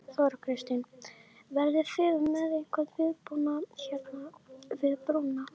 Þóra Kristín: Verðið þið með einhvern viðbúnað hérna við brúna?